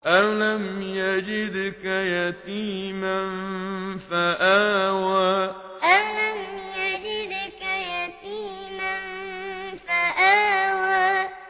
أَلَمْ يَجِدْكَ يَتِيمًا فَآوَىٰ أَلَمْ يَجِدْكَ يَتِيمًا فَآوَىٰ